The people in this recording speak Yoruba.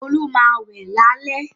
Olu má wẹ̀ lálẹ̀.